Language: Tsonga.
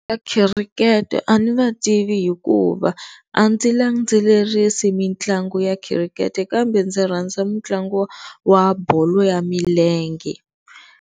Va khirikete a ni va tivi hikuva a ndzi landzelerisi mitlangu ya khirikete kambe ndzi rhanza mitlangu wa bolo ya milenge.